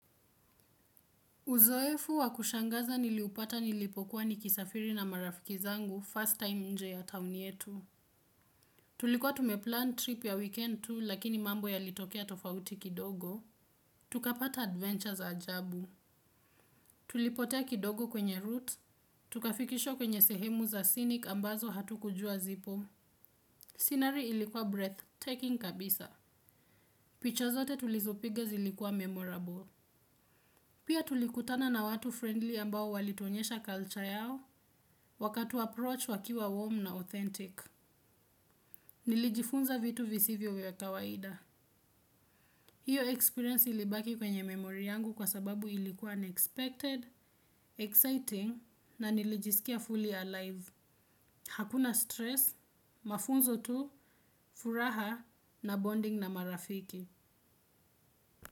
Uzoefu wakushangaza niliupata nilipokuwa ni kisafiri na marafiki zangu, first time nje ya town yetu. Tulikuwa tumeplan trip ya weekend tu lakini mambo yalitokea tofauti kidogo. Tukapata adventures ajabu. Tulipotea kidogo kwenye roots. Tukafikishwa kwenye sehemu za scenic ambazo hatukujua zipo. Scenery ilikuwa breathtaking kabisa. Picha zote tulizo piga zilikuwa memorable. Pia tulikutana na watu friendly ambao walitonyesha culture yao. Waka tu approach wakiwa warm na authentic. Nilijifunza vitu visivyo vya kawaida. Hiyo experience ilibaki kwenye memory yangu kwa sababu ilikuwa unexpected, exciting na nilijisikia fully alive. Hakuna stress, mafunzo tu, furaha na bonding na marafiki.